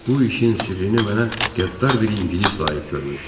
Bu işin sirrini mənə qəddar bir ingilis layiq görmüşdü.